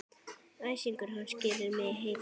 Æsingur hans gerir mig heita.